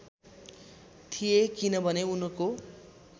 थिए किनभने उनको